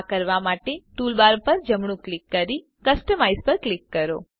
આ કરવા માટે ટૂલબાર પર જમણું ક્લિક કરી કસ્ટમાઇઝ પસંદ કરો